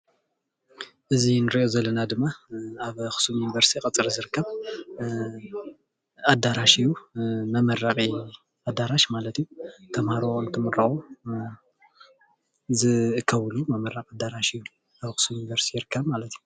እዚ እንሪኦ ዘለና ድማ ኣብ ኣክሱም ዩኒቨርስቲ ቀፅሪ ዝርከብ ኣዳራሽ እዩ፣ መመረቂ ኣዳራሽ ማለት እዩ፣ ተማሃሮ እትምረቁ ዝእከብሉ መመረቂ ኣዳራሽ እዩ ኣብ ኣክሱም ዩኒቨርስቲ ይርከብ ማለት እዩ፡፡